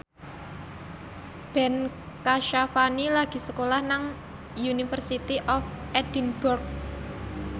Ben Kasyafani lagi sekolah nang University of Edinburgh